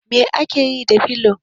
Me ake yi da filo?